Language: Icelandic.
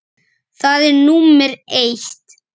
Það er númer eitt.